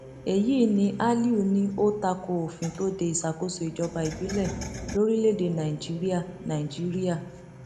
èyí ni aliu ní ó takò òfin tó de ìṣàkóso ìjọba ìbílẹ lórílẹèdè nàíjíríà nàíjíríà